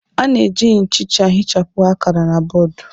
A na-eji nchicha ihichapụ akara na bọọdụ.